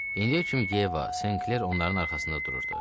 İndiyə kimi Yeva, Senkler onların arxasında dururdu.